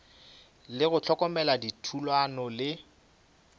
le go hlokomela dithulano le